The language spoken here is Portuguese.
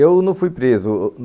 Eu não fui preso.